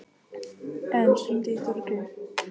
Anne, hringdu í Þórgrím.